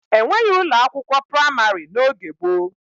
E nweghi ụlọ akwụkwọ praịmarị n'oge gboo.